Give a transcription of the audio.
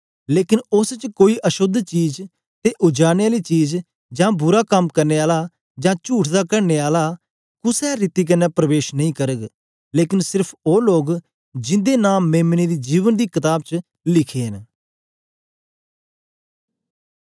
लेकन उस्स च कोई अशोद्ध चीज ते उजाड़ने आली चीज जां बुरा कम करने आला जां चुठ दा गढ़ने आला कुसे रीति कन्ने परबेश नेई करग लेकन सिर्फ ओ लोग जिंदे नां मेम्ने दी जीवन दी कताब च लिखे न